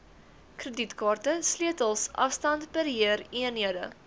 kredietkaarte sleutels afstandbeheereenhede